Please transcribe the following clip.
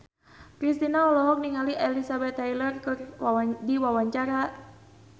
Kristina olohok ningali Elizabeth Taylor keur diwawancara